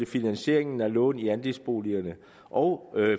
finansieringen af lån i andelsboligerne og